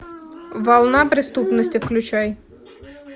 волна преступности включай